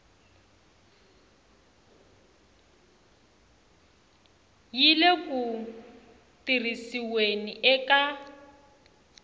yi le ku tirhisiweni eka